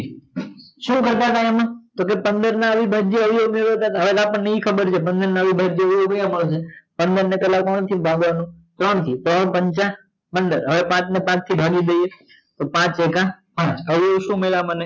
શું કરતતા આમાં તો કે પંદર ના અવિભાજ્ય અવયવો કયા કયા હતા હવે આપદને ઈ ખબર છે પંદર ના અવિભાજ્ય અવયવો પંદર ને પેલા કેટલા થી ભાગવાનું ત્રણ થી ત્રણ પાંચ પંદર હવે પાંચ ને પાંચ થી ભાગી દય તો પાંચ ચોક હ તો હવે શું મડયા મને